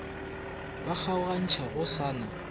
ba kgaogantšhago go sa na